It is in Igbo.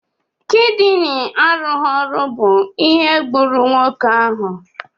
Kidini arụghi ọrụ bụ ihe gburu nwoke ahụ.